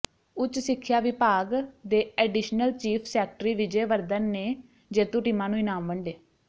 ਉੱਚ ਸਿੱਖਿਆ ਵਿਭਾਗ ਦੇ additional chief secretary Vijay Vardhan ਨੇ ਜੇਤੂ ਟੀਮਾਂ ਨੂੰ ਇਨਾਮ ਵੰਡੇ